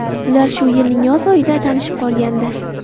Ular shu yilning yoz oyida tanishib qolgandi.